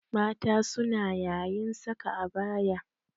Mata suna yayin saka abaya.